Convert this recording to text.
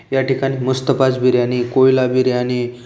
या ठिकाणी मस्त पाच बिर्याणी कोयला बियाणी--